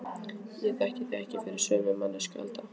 Ég þekki þig ekki fyrir sömu manneskju Alda.